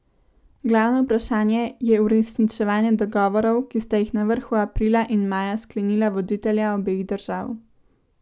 Glavno vprašanje je uresničevanje dogovorov, ki sta jih na vrhu aprila in maja sklenila voditelja obeh držav.